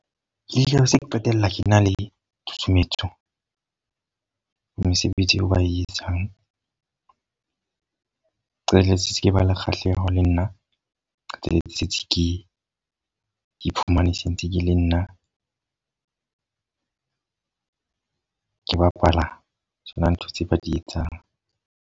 Ke tla be se ke qetella ke na le tshutshumetso, mesebetsi eo ba e etsang. Qetelletse se ke ba le kgahleho le nna. Tsela tsietsi ke iphumane se ntse ke le nna ke bapala tsona ntho tse ba di etsang.